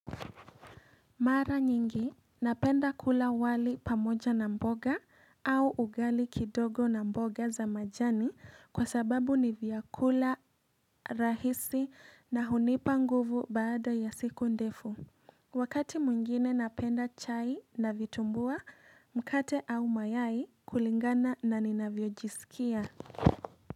Mara nyingi napenda kula wali pamoja na mboga au ugali kidogo na mboga za majani kwa sababu ni vyakula rahisi na hunipa nguvu baada ya siku ndefu. Wakati mwingine napenda chai na vitumbua mkate au mayai kulingana na ninavyojisikia.